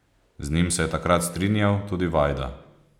Z njim se je takrat strinjal tudi Vajda.